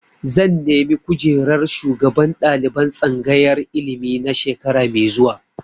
Zan nemi kujerar shugaban ɗaliban tsangayar ilimi na shekara mai zuwa.